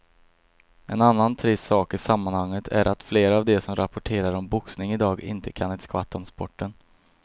En annan trist sak i sammanhanget är att flera av de som rapporterar om boxning i dag inte kan ett skvatt om sporten.